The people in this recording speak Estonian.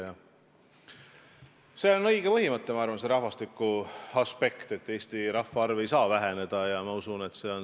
Ma arvan, et see rahvastikuaspekt, et Eesti rahvaarv ei saa väheneda, on õige põhimõte.